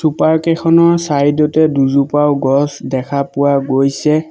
Sofa কেইখনৰ side তে দুজোপাও গছ দেখা পোৱা গৈছে।